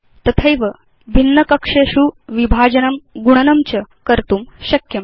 तथैव भिन्न कक्षेषु विभाजनं गुणनं च कर्तुं शक्यम्